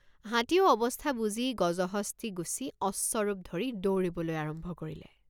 হাতীয়েও অৱস্থা বুজি গজহস্তী গুচি অশ্বৰূপ ধৰি দৌৰিবলৈ আৰম্ভ কৰিলে।